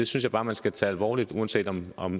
synes bare man skal tage alvorligt uanset om om